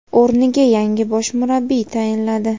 o‘rniga yangi bosh murabbiy tayinladi;.